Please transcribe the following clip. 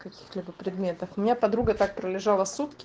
каких-либо предметов меня подруга так пролежала сутки